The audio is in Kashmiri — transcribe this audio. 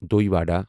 دۄے ودا